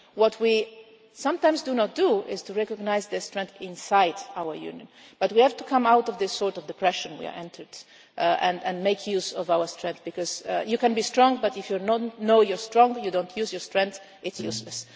What we sometimes do not do is recognise this strength inside our Union, but we have to come out of this sort of depression we have entered and make use of our strength, because you can be strong, but if you know you are strong you do not use your strength and it is useless.